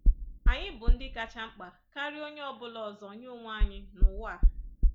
Anyị bụ ndị kacha mkpa karịa onye ọ bụla ọzọ nye onwe anyị n'ụwa a.